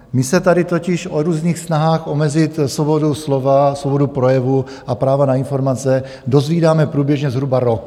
My se tady totiž o různých snahách omezit svobodu slova, svobodu projevu a práva na informace dozvídáme průběžně zhruba rok.